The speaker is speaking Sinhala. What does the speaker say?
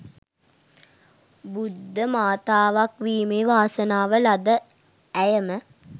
බුද්ධ මාතාවක් වීමේ වාසනාව ලද ඇයම